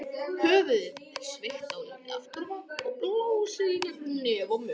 Höfuðið er sveigt dálítið aftur á bak og blásið í gegnum nef og munn.